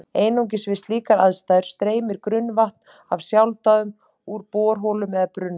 Einungis við slíkar aðstæður streymir grunnvatn af sjálfsdáðum úr borholum eða brunnum.